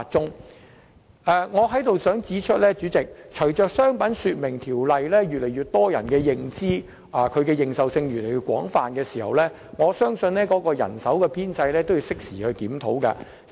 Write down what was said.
主席，我在此想指出，隨着越來越多人對《條例》有所認識，對《條例》的引用亦越來越廣泛，當局應適時檢討海關的人手編制。